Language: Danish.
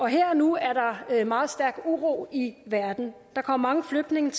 her og nu er der meget stærk uro i verden der kommer mange flygtninge